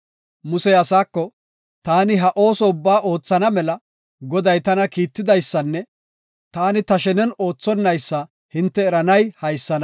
Musey asaako, “Taani ha ooso ubbaa oothana mela, Goday tana kiittidaysanne taani ta shenen oothonaysa hinte eranay haysana.